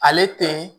Ale tɛ